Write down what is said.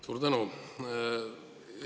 Suur tänu!